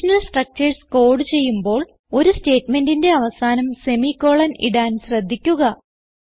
conditional structures code ചെയ്യുമ്പോൾ ഒരു സ്റ്റേറ്റ്മെന്റിന്റെ അവസാനം സെമിക്കോളൻ ഇടാൻ ശ്രദ്ധിക്കുക